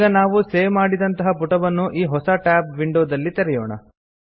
ಈಗ ನಾವು ಸೇವ್ ಮಾಡಿದಂತಹ ಪುಟವನ್ನು ಈ ಹೊಸ ಟ್ಯಾಬ್ ವಿಂಡೊದಲ್ಲಿ ತೆರೆಯೋಣ